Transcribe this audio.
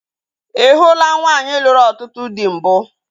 Ị hụula nwaanyị lụrụ ọtụtụ dị mbụ?